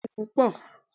Bẹ́ẹ̀ni, o dun pupọ